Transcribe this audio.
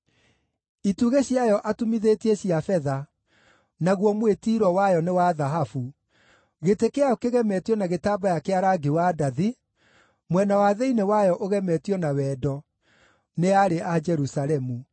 Itugĩ ciayo atumithĩtie cia betha, naguo mwĩtiiro wayo nĩ wa thahabu, gĩtĩ kĩayo kĩgemetio na gĩtambaya kĩa rangi wa ndathi, mwena wa thĩinĩ wayo ũgemetio na wendo nĩ aarĩ a Jerusalemu.